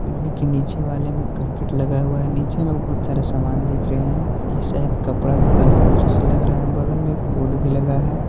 इनी के नीचे वाले में करकट लगा हुआ है नीचे मे बहुत सारा सामान दिख रहे है ये शायद कपड़ा दुकान का दृश्य लग रहा है बगल मे एक बोर्ड भी लगा है।